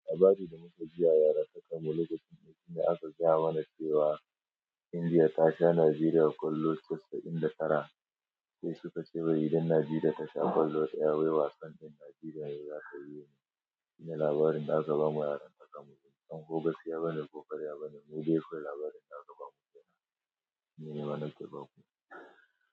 Labarin da muka ji a yaratake molud din, shine aka gaya mana cewa Indiya ta sha Najeriya kwallo casa'in da tara. Sai suka ce wai idan Najeriya ta sha kwallo sayar, wai wasan din Najeriya za ta yi. Shine labarin da aka bamu yaran takamun. Dan hogo ya bani ko karya bani, mu dai kawai labarin da aka bamu kenan, shine nima nake baku.